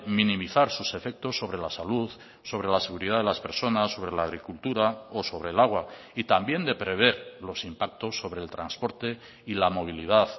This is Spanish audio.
minimizar sus efectos sobre la salud sobre la seguridad de las personas sobre la agricultura o sobre el agua y también de prever los impactos sobre el transporte y la movilidad